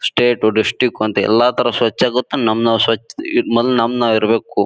State district ಅಂತ ಎಲ್ಲ ತರ ಸ್ವಚ್ಛ ಗೊತ್ತು ನಮ ನಾವ್ ಸ್ವಚ್ ಮೊದ್ಲು ನಮ್ ನಾವ್ ಇರ್ಬೇಕು.